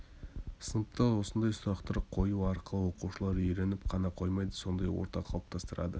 сыныпта осындай сұрақтар қою арқылы оқушылар үйреніп қана қоймайды сондай орта қалыптастырады